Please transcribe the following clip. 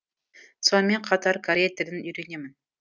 сонымен қатар корей тілін үйренемін